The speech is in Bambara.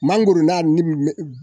Mangoro na ni